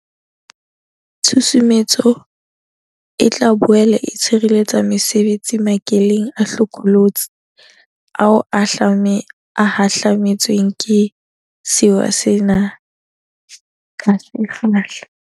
Tshusumetso e tla boele e tshireletsa mesebetsi makeleng a hlokolotsi ao a hahlame tsweng ke sewa sena ka se kgahla.